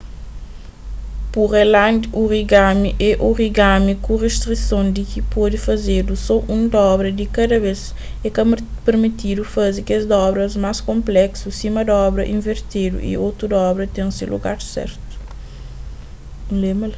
pureland origami é origami ku ristrison di ki pode fazedu so un dobra di kada bes é ka pirmitidu faze kes dobras más konpleksu sima dobra invertedu y tudu dobra ten se lugar sertu